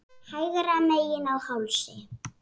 Hægra megin á hálsi.